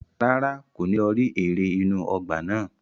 Rárá, kò ní lọ rí eré inú ọgbà náà.